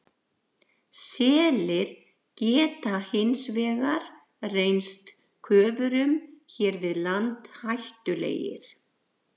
Selir geta hins vegar reynst köfurum hér við land hættulegir.